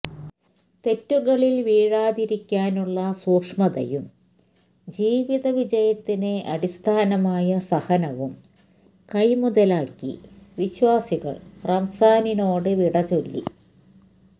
തെറ്റുകളില് വീഴാതിരിക്കാനുള്ള സൂക്ഷ്മതയും ജീവിത വിജയത്തിന് അടിസ്ഥാനമായ സഹനവും കൈമുതലാക്കി വിശ്വാസികള് റമസാനിനോട് വിട ചൊല്ലി